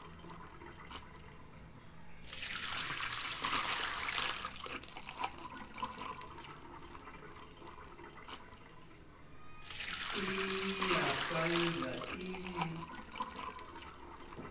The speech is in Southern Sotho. e ya faelwa e be